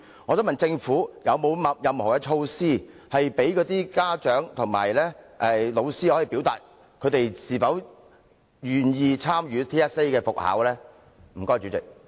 我想問政府，是否有任何措施，讓家長和老師表達是否願意參與 TSA 的復考呢？